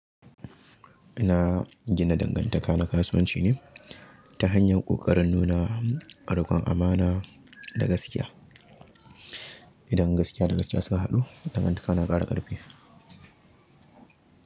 Ina gina dangantaka na kasuwanci ne ta hanyar ƙoƙarin nuna ruƙon amana da gaskiya. Idan gaskiya da gaskiya suka haɗu, dangantaka na ƙara ƙarfi.